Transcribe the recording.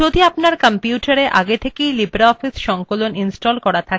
যদি আপনার কম্পিউটারএ আগে থেকেই libreoffice সংকলন ইনস্টল করা থাকে